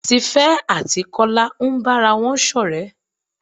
Tífé àti Kola ń bára wọn ṣọ̀rẹ́.